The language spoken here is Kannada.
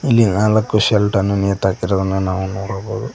ಇಲ್ಲಿ ನಾಲಕ್ಕು ಶರ್ಟ್ ಅನ್ನು ನೀತು ಹಾಕಿರುವುದನ್ನು ನಾವು ನೋಡಬಹುದು.